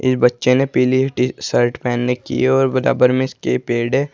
इस बच्चों ने पीली टी शर्ट पहनने की और बराबर में इसके पेड़ है।